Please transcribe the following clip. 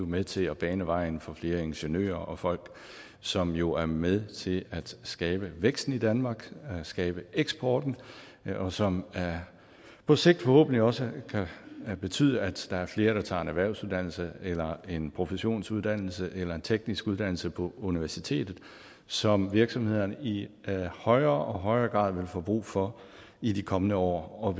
med til at bane vejen for flere ingeniører og folk som jo er med til at skabe væksten i danmark skabe eksporten og som på sigt forhåbentlig også kan betyde at der er flere der tager en erhvervsuddannelse eller en professionsuddannelse eller en teknisk uddannelse på universitetet som virksomhederne i højere og højere grad vil få brug for i de kommende år og